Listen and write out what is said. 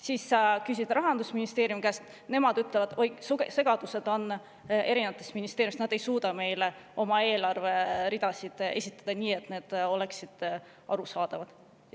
Siis sa küsid Rahandusministeeriumi käest, nemad ütlevad, et oi, segadused on erinevates ministeeriumides, nad ei suuda oma eelarveridasid esitada nii, et need oleksid arusaadavad.